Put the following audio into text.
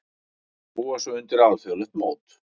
Búa sig undir alþjóðlegt mót